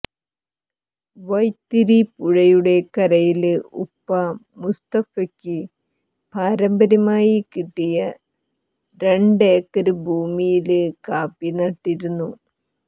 വൈത്തിരി പുഴയുടെ കരയില് ഉപ്പ മുസ്തഫക്ക് പാരമ്പര്യമായി കിട്ടിയ രണ്ടേക്കര് ഭൂമിയില് കാപ്പി നട്ടിരിക്കുന്നു